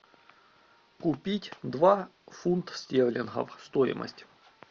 купить два фунта стерлингов стоимость